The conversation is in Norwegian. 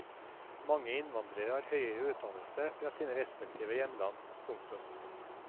Mange innvandrere har høyere utdannelse fra sine respektive hjemland. punktum